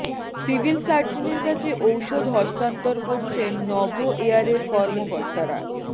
civil সার্জনের কাছে ঔষধ হস্তান্তর করছেন নভো এয়ারের কর্মকর্তারা